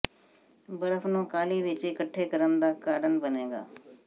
ਬਰਫ਼ ਨੂੰ ਕਾਹਲੀ ਵਿੱਚ ਇਕੱਠੇ ਕਰਨ ਦਾ ਕਾਰਨ ਬਣੇਗਾ